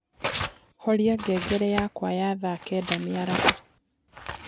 horĩa ngengere yakwa ya thaa kenda mĩaraho